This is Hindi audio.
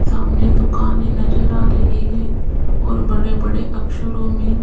सामने दुकाने नजर आ रही है और बड़े बड़े अक्षरों में--